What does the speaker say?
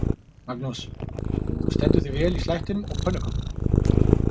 Magnús: Þú stendur þig vel í slættinum og pönnukökunum?